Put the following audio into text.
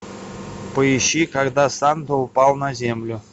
поищи когда санта упал на землю